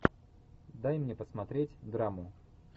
дай мне посмотреть драму